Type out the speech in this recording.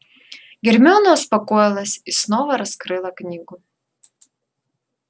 гермиона успокоилась и снова раскрыла книгу